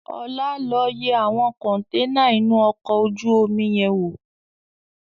Ọlá, lọ yẹ àwọn kọntẹ́ẹ́nà inú ọkọ̀ ojú omi yẹn wò!